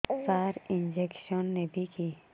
ସାର injection ନେବିକି